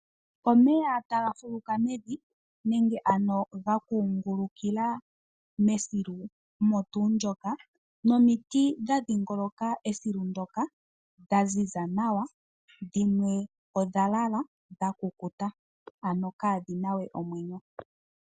Omeya taga fuluka mevi nenge ano ga kungulukila mesilu olyo tuu ndoka nomiti dha dhingoloka esilu ndoka, dha ziza nawa, dhimwe odha lala, dha kukuta ano kaa dhi na we omwenyo.